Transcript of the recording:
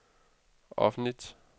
offentligt